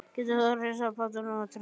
Getur þú hrifsað pottinn af Tryggva?